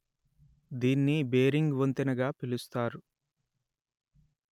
దీన్ని బేరింగ్ వంతెన గా పిలుస్తారు